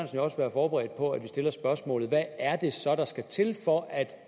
jo også være forberedt på at vi stiller spørgsmålet hvad er det så der skal til for at